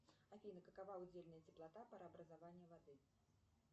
афина какова удельная теплота парообразования воды